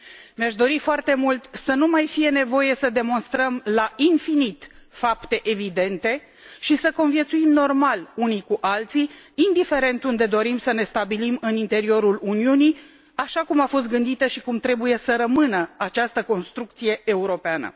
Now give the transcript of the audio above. Mi aș dori foarte mult să nu mai fie nevoie să demonstrăm la infinit fapte evidente și să conviețuim normal unii cu alții, indiferent unde dorim să ne stabilim în interiorul Uniunii, așa cum a fost gândită și cum trebuie să rămână această construcție europeană.